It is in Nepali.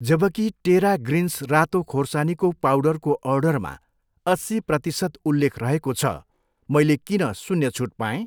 जबकि टेरा ग्रिन्स रातो खोर्सानीको पाउडरको अर्डरमा अस्सी प्रतिसत उल्लेख रहेको छ मैले किन शून्य छुट पाएँ?